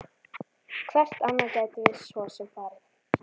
Hvert annað gætum við svo sem farið?